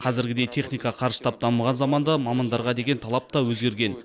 қазіргідей техника қарыштап дамыған заманда мамандарға деген талап та өзгерген